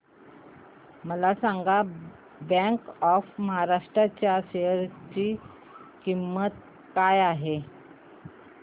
मला सांगा bank of Maharashtra च्या शेअर ची किंमत काय आहे